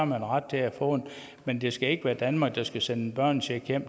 man ret til at få den men det skal ikke være danmark der skal sende en børnecheck